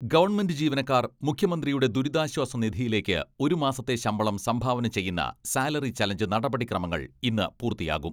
Government ജീവനക്കാർ മുഖ്യമന്ത്രിയുടെ ദുരിതാശ്വാസ നിധിയിലേക്ക് ഒരു മാസത്തെ ശമ്പളം സംഭാവന ചെയ്യുന്ന സാലറി ചലഞ്ച് നടപടിക്രമങ്ങൾ ഇന്ന് പൂർത്തിയാകും.